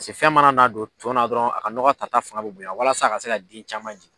Pase fɛn mana n'a don tɔn na dɔrɔn, a ka ɲɔgɔ ta ta fanga bɛ bonyan walasa a ka se ka den caman jigin.